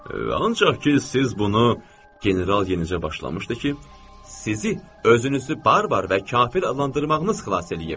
Ancaq ki, siz bunu General yenicə başlamışdı ki, sizi özünüzü barbar və kafir adlandırmağınız xilas eləyib.